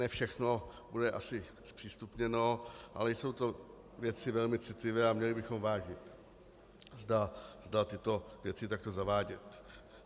Ne všechno bude asi zpřístupněno, ale jsou to věci velmi citlivé a měli bychom vážit, zda tyto věci takto zavádět.